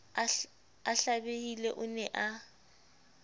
a hlabehile o ne a